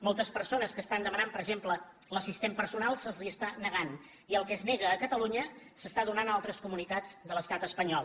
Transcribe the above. moltes persones que estan demanant per exemple l’assistent personal se’ls està negant i el que se nega a catalunya s’està donant a altres comunitats de l’estat espanyol